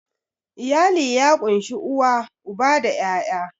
Iyali ya ƙunshi uwa, uba da 'ya'ya.